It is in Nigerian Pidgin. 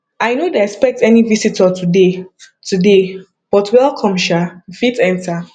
i no dey expect any visitor today today but welcome sha you fit enter